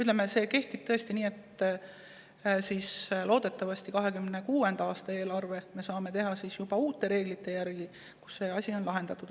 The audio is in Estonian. Loodetavasti 2026. aasta eelarve me saame teha juba uute reeglite järgi ja nii, et see on lahendatud.